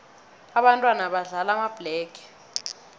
ababntwana badlala amabhlege